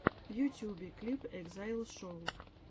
в ютюбе клип экзайл шоу